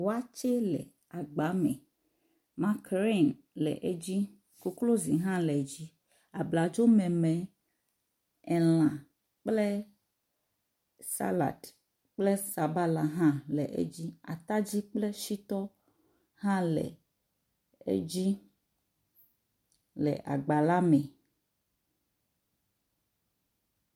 Wɔtse le agba me makrini le edzi koklozi hã le edzi, abladzo memɛ elã kple salad kple sabala hã le edzi, atadi kple sitɔ hã le edzi le agba la me